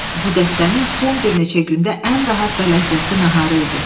Bu dəstənin son bir neçə gündə ən rahat və ləzzətli naharı idi.